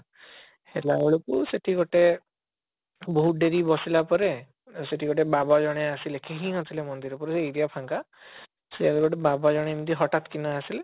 ହେଲା ବେଳକୁ ସେଠି ଗୋଟେ ବହୁତ ଡେରି ବସିଲା ପରେ ସେଠି ଗୋଟେ ବାବା ଜଣେ ଆସିଲେ କେହି ନଥିଲେ ମନ୍ଦିରରେ ପୁରା area ଫାଙ୍କା ସେ ଗୋଟେ ବାବା ଜଣେ ପୁରା ହଠାତ କିନା ଆସିଲେ